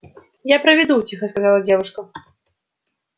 я проведу тихо сказала девушка